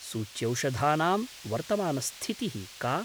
सूच्यौषधानां वर्तमानस्थितिः का?